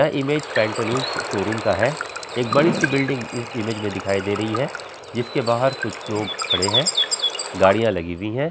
यह image Pantaloons showroom का है| एक बड़ी-सी बिल्डिंग इस इमेज में दिखाई दे रही है जिसके बाहर कुछ लोग खड़े हैं गाड़ियां लगी हुई है।